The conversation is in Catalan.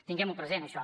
tinguem ho present això